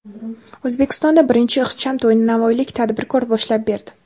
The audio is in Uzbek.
O‘zbekistonda birinchi ixcham to‘yni navoiylik tadbirkor boshlab berdi.